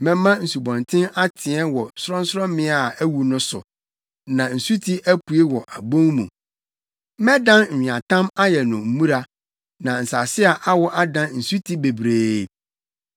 Mɛma nsubɔnten ateɛ wɔ sorɔnsorɔmmea a awu no so, na nsuti apue wɔ abon mu. Mɛdan nweatam ayɛ no mmura, na nsase a awo adan nsuti bebree.